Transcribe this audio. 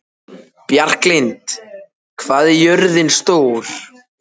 Bjarklind, hvað er jörðin stór?